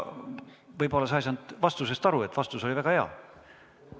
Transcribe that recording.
Võib-olla sa ei saanud vastusest aru, kuigi vastus oli väga hea.